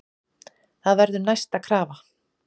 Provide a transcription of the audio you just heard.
Það verður næsta krafa.